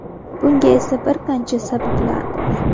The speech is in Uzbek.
Bunga esa bir qancha sabablar bor.